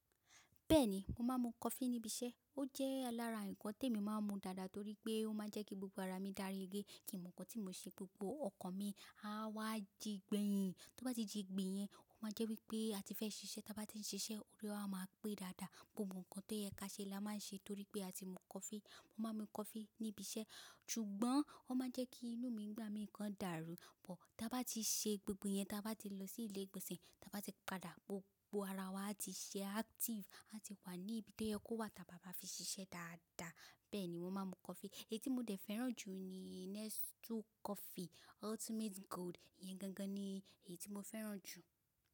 Bẹ́ẹ̀ni, mo máa ń mu coffee níbi iṣẹ́. Ó jẹ́ lara ǹkan tí mo máa ń mu dáadáa torí pé ó máa ń jẹ́ kí gbogbo ara mi dárí gbé. Kì í mo nǹkan tí mo ṣe, gbogbo ọkàn mi á wá jígbẹ̀yìn. Tí ó bá ti jígbìn yen, ó máa jẹ́ wípé a ti fẹ́ ṣiṣẹ́. Tí a bá ti ń ṣiṣẹ́, orí wa máa pé dáadáa. Gbogbo ǹkan tó yẹ ká ṣe la máa ń ṣe torí pé a ti mú coffee. Mo máa ń mu coffee níbi iṣẹ́, ṣùgbọ́n ó máa ń jẹ́ kí inú mi gba mi ǹkan dàrú. Ọ̀, tí a bá ti ṣe gbogbo ẹ̀yẹn, tí a bá ti lọ sí ilé ìgbọ̀nsẹ̀, tí a bá ti padà, gbogbo ara wa ti ṣe active. A ti wà ní ibi tí ẹ kó wa tábá bá fi ṣiṣẹ́ dáadáa. Bẹ́ẹ̀ ni mo máa ń mu coffee. Èyí tí mo dẹ̀ fẹ́ràn jù ni Nescafe Ultimate Gold. Ìyẹn gangan ni èyí tí mo fẹ́ràn jù.